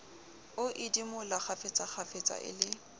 a idimola kgafetsakgafetsa e le